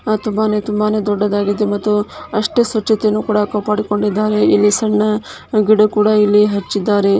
ತುಂಬಾನೇ ತುಂಬಾನೇ ದೊಡ್ಡದಾಗಿದೆ ಅಷ್ಟೇ ಸ್ವಚ್ಛ್ತೆಯನ್ನು ಕಾಪಾಡಿಕೊಂಡಿದ್ದಾರೆ ಇಲ್ಲಿ ಸಣ್ಣ ಗಿಡ ಕೂಡ ಹಚ್ಚಿದಾರೆ .